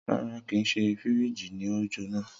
Rara, kii ṣe firiji ni o jona.